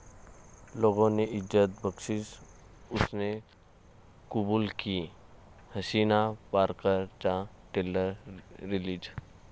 'लोगों ने इज्जत बख्शी, उसने कुबूल की!' 'हसीना पारकर'चा ट्रेलर रिलीज